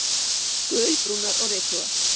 Gulbrúnar og rykugar.